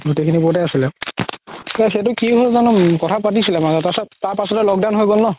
গোতেই খিনি আছিলে এইটো কি হ'ল জানো কথা পাতিছিলে মাজতে তাৰ পাছত, তাৰ পাছতেই lock down হয় গ'ল ন